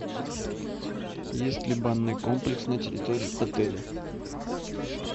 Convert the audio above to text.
есть ли банный комплекс на территории отеля